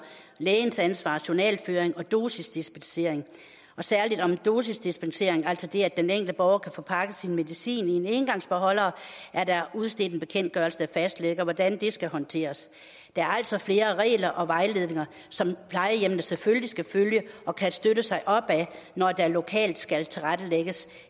lægens ansvar journalføring og dosisdispensering og særlig om dosisdispensering altså det enkelte borger kan få pakket sin medicin i en engangsbeholder er der udstedt en bekendtgørelse der fastlægger hvordan det skal håndteres der er altså flere regler og vejledninger som plejehjemmene selvfølgelig skal følge og kan støtte sig op ad når der lokalt skal tilrettelægges